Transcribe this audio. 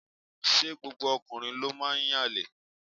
Ṣé gbogbo ọkùnrin ló máa ń yànlè.?